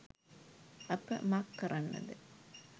අප මක් කරන්නද.